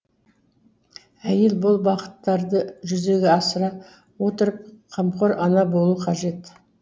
әйел бұл бағыттарды жүзеге асыра отырып қамқор ана болу қажет